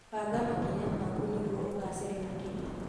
Banga makinya maku nĩguo ũgacĩre makĩria.